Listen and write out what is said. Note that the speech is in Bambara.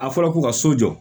A fɔra ko ka so jɔ